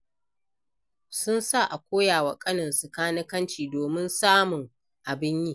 Sun sa a koya wa ƙaninsu kanikanci domin samun abin yi.